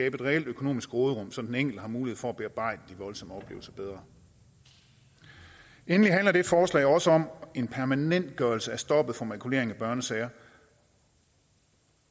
et reelt økonomisk råderum så den enkelte har mulighed for at bearbejde de voldsomme oplevelser bedre endelig handler det forslag også om en permanentgørelse af stoppet for makulering af børnesager